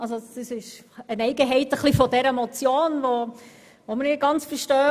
Das ist eine Eigenheit dieser Motion, die wir nicht ganz verstehen.